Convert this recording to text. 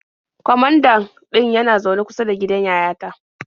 Kwamandan ɗin yana zaune kusa da gidan yayata.